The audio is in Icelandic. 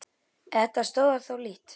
En þetta stoðar þó lítt.